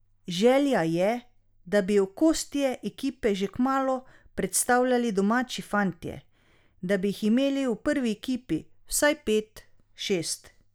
Želja je, da bi okostje ekipe že kmalu predstavljali domači fantje, da bi jih imeli v prvi ekipi vsaj pet, šest.